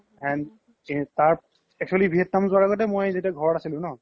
and actually vietnam জুৱাৰ আগ্তে মই যেতিয়া ঘৰত আছিলো ন